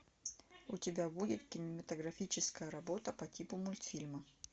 у тебя будет кинематографическая работа по типу мультфильма